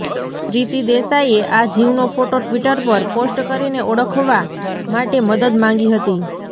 પ્રિતી દેસાઇએ આ જીવનો ફોટો ટ્વિટર પર પોસ્ટ કરીને ઓળખવા માટે મદદ માંગી હતી